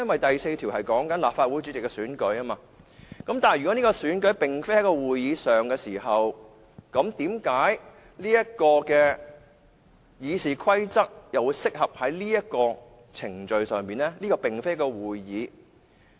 第4條是關於立法會主席的選舉，但如果這個選舉並非在立法會會議上進行，為何《議事規則》又適用於這個程序呢？